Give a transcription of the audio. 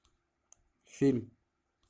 фильм